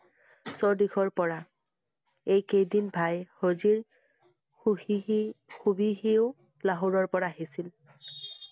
সৌদিখৰ পৰা। এই কেইদিন ভাই হজিৰ ~ লাহোৰৰ পৰা আহিছিল